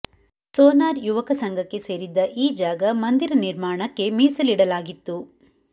sonar ಯುವಕ ಸಂಘಕ್ಕೆ ಸೇರಿದ್ದ ಈ ಜಾಗ ಮಂದಿರ ನಿರ್ಮಾಣಕ್ಕೆ ಮೀಸಲಾಡಲಾಗಿತ್ತು